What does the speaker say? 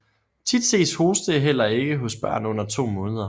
Tit ses hoste heller ikke hos børn under to måneder